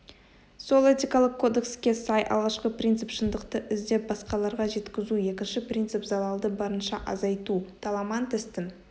сол этикалық кодекске сай алғашқы принцип шындықты іздеп басқаларға жеткізу екінші принцип залалды барынша азайту таламантестің